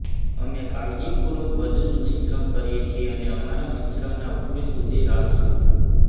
અમે કાળજીપૂર્વક બધું જ મિશ્રણ કરીએ છીએ અને અમારા મિશ્રણના ઉકળે સુધી રાહ જુઓ